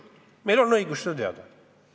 Meil on õigus seda teada.